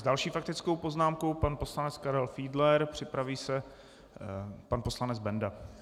S další faktickou poznámkou pan poslanec Karel Fiedler, připraví se pan poslanec Benda.